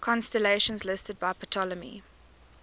constellations listed by ptolemy